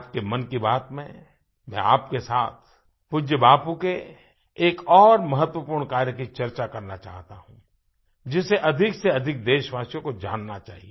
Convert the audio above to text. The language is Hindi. आज की मन की बात में मैं आपके साथ पूज्य बापू के एक और महत्वपूर्ण कार्य की चर्चा करना चाहता हूँ जिसे अधिकसेअधिक देशवासियों को जानना चाहिए